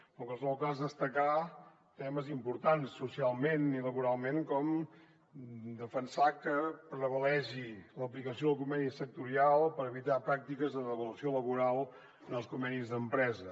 en qualsevol cas destacar temes importants socialment i laboralment com defensar que prevalgui l’aplicació del conveni sectorial per evitar pràctiques de devaluació laboral en els convenis d’empresa